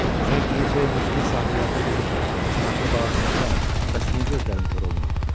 Sən ki neçə ildir Moskito sahillərinə gedib çanaqlı bağa tutmusan, bəs niyə gözlərin kor olmayıb?